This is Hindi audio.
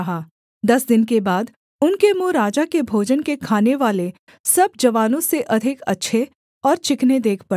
दस दिन के बाद उनके मुँह राजा के भोजन के खानेवाले सब जवानों से अधिक अच्छे और चिकने देख पड़े